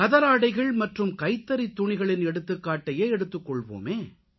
கதராடைகள் மற்றும் கைத்தறித்துணிகளின் எடுத்துக்காட்டையே எடுத்துக்கொள்வோமே